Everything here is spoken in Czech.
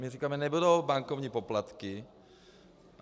My říkáme: nebudou bankovní poplatky.